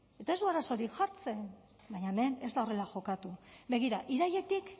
eta ez du arazorik jartzen baina hemen ez da horrela jokatu begira irailetik